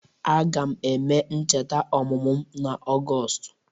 Aga m eme ncheta ọmụmụ m n’Ọgọstụ.